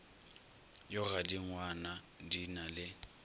ya godingwana di na le